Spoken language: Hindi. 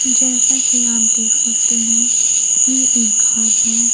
जैसा कि आप देख सकते हैं ये एक घर है।